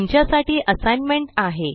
तुमच्या साठी असाइनमेंट आहे